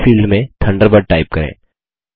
अगले फील्ड में Thunderbird type करें